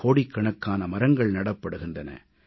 கோடிக்கணக்கான மரங்கள் நடப்படுகின்றன